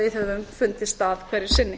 við höfum fundið stað hverju sinni